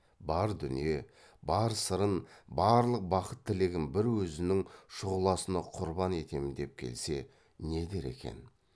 бар дүние бар сырын барлық бақыт тілегін бір өзінің шұғыласына құрбан етем деп келсе не дер екен